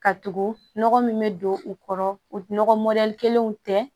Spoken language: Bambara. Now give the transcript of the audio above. Ka tugu nɔgɔ min bɛ don u kɔrɔ nɔgɔ kelenw tɛ